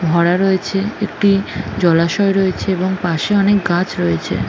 ভরা রয়েছে একটি জলাশয়ে রয়েছে এবং পাশে অনেক গাছ রয়েছে ।